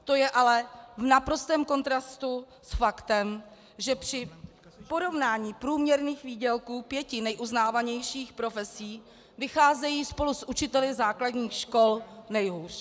To je ale v naprostém kontrastu s faktem, že při porovnání průměrných výdělků pěti neuznávanějších profesí vycházejí spolu s učiteli základních škol nejhůř.